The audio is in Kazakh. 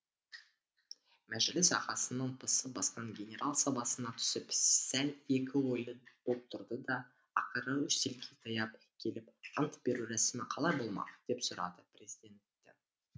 мәжіліс ағасының пысы басқан генерал сабасына түсіп сәл екі ойлы боп тұрды да ақыры үстелге таяп келіп ант беру рәсімі қалай болмақ деп сұрады президенттен